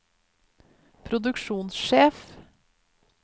produksjonssjef